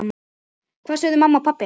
Hvað sögðu mamma og pabbi?